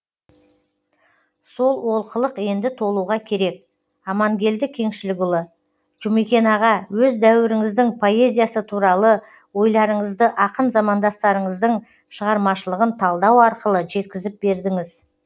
сол олқылық енді толуға керек амангелді кеңшілікұлы жұмекен аға өз дәуіріңіздің поэзиясы туралы ойларыңызды ақын замандастарыңыздың шығармашылығын талдау арқылы жеткізіп бердіңіз